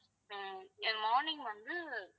ஆஹ் அஹ் morning வந்து